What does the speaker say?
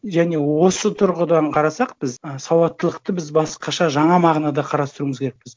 және осы тұрғыдан қарасақ біз ы сауаттылықты біз басқаша жаңа мағынада қарастыруымыз керекпіз